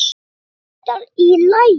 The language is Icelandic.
Væri þetta í lagi?